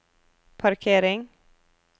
parkering